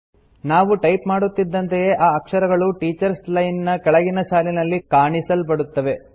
ನಾವು ಟೈಪ್ ಮಾಡುತ್ತಿದ್ದಂತೆಯೇ ಆ ಅಕ್ಷರಗಳು ಟೀಚರ್ಸ್ ಲೈನ್ ನ ಕೆಳಗಿನ ಸಾಲಿನಲ್ಲಿ ಕಾಣಿಸಲ್ಪಡುತ್ತವೆ